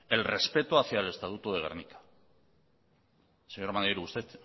el respeto hacia el estatuto de gernika señor maneiro usted